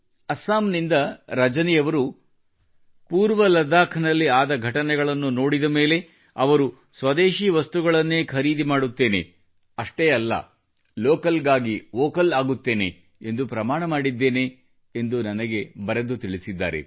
ಅಸ್ಸಾಂನಿಂದ ರಜನಿಯವರು ಪೂರ್ವ ಲಡಾಖ್ನಲ್ಲಿ ಆದ ಘಟನೆಗಳನ್ನು ನೋಡಿದ ಮೇಲೆ ಸ್ವದೇಶೀ ವಸ್ತುಗಳನ್ನೇ ಖರೀದಿ ಮಾಡುತ್ತೇನೆ ಅಷ್ಟೆ ಅಲ್ಲ ಲೋಕಲ್ಗಾಗಿ ವೋಕಲ್ ಆಗುತ್ತೇನೆ ಎಂದು ಪ್ರಮಾಣ ಮಾಡಿದ್ದೇನೆ ಎಂದು ನನಗೆ ಬರೆದು ತಿಳಿಸಿದ್ದಾರೆ